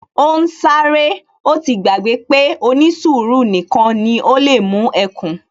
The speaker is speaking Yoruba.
Ó ń sáré, ó ti gbàgbé pé ó ní sùúrù nìkan ni ó lè mú ẹkùn